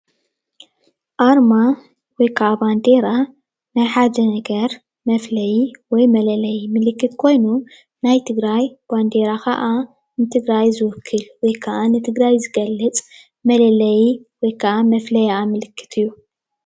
ኣርማ ወይ ከዓ ባንዴራ ሓደ ነገር መፍለዪ ወይ መለለዪ ምልክት ኮይኑ ናይ ትግራይ ባንዴራ ከዓ ንትግራይ ዝውክል ወይ ከዓ ንትግራይ ዝገልፅ መለልዪ ወይ ከዓ መፍለይኣ ምልክት እዩ።